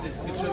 Gözəl.